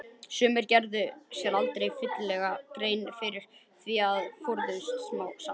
Sumir gerðu sér aldrei fyllilega grein fyrir því en forðuðust þá samt.